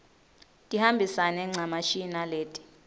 tihambisane ncamashi naleti